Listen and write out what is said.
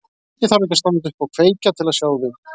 Ég þarf ekki að standa upp og kveikja til að sjá þig.